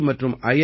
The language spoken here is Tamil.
டி மற்றும் ஐ